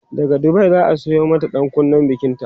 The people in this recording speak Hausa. daga Dubai zaa Sayo mata ɗankunnen bikinta